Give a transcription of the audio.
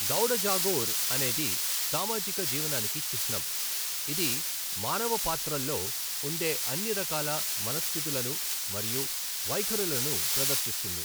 గౌడ జాగోర్ అనేది సామాజిక జీవనానికి చిహ్నం, ఇది మానవ పాత్రల్లో ఉండే అన్ని రకాల మనస్థితులను మరియు వైఖరులను ప్రదర్శిస్తుంది.